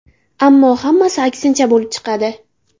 Ammo hammasi aksincha bo‘lib chiqadi.